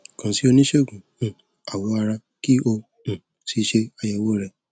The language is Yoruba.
kàn sí oníṣègùn um awọ ara kí o um sì ṣe àyẹwò rẹ